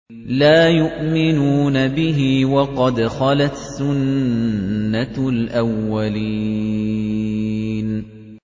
لَا يُؤْمِنُونَ بِهِ ۖ وَقَدْ خَلَتْ سُنَّةُ الْأَوَّلِينَ